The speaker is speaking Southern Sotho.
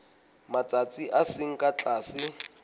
matsatsi a seng ka tlase